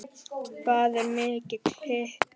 Hvað er mikill hiti?